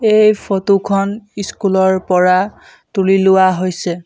এই ফটো খন স্কুল ৰ পৰা তুলি লোৱা হৈছে।